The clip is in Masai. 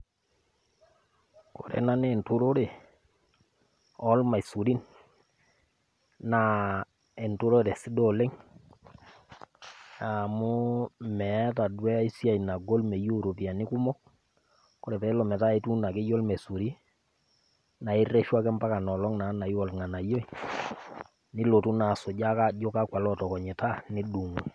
Ore ena naa enturore olmaisurin, naa enturore sidai oleng, amu meata duo ai siai nagol, meyeu iropiani kumok, kore peele metaa ituuno akeyie olmesuri, naa ireshu ake mpaka ina oleng naiu olng'anayioi, nilotu naa ake asujaa ajo kakwa ootokonyita nidung'u.